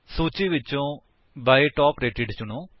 ਸੂਚੀ ਵਿਚੋਂ by top rated ਚੁਣੋ